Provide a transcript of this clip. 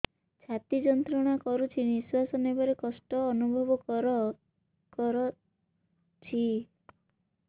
ଛାତି ଯନ୍ତ୍ରଣା କରୁଛି ନିଶ୍ୱାସ ନେବାରେ କଷ୍ଟ ଅନୁଭବ କରୁଛି